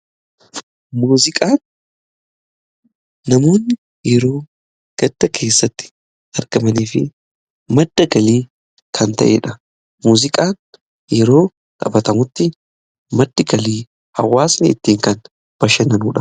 Muuziqaan namoonni yeroo gadda keessatti argamaniif madda galii kan ta'eedha muziqaan yeroo xaphatamutti maddi galii hawaasnii ittiin kan bashannanuudha.